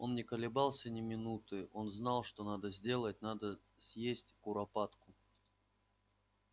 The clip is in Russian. он не колебался ни минуты он знал что надо сделать надо съесть куропатку